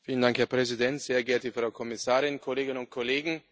Herr Präsident, sehr geehrte Frau Kommissarin, Kolleginnen und Kollegen!